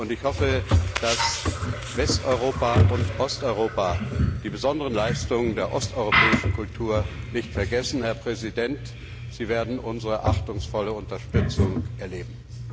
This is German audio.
Ich hoffe, dass Westeuropa und Osteuropa die besonderen Leistungen der osteuropäischen Kultur nicht vergessen. Herr Präsident, Sie werden unsere achtungsvolle Unterstützung erleben!